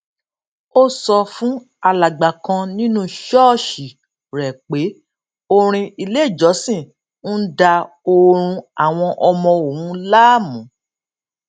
ó sọ fún alàgbà kan nínú ṣóòṣì rè pé orin ileìjọsìn ń da oorun àwọn ọmọ òun láàmú